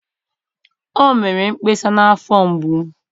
o mere mkpesa na afo mgbu.